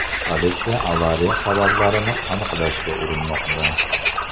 Politsiya avariya sabablarini aniqlashga urinmoqda.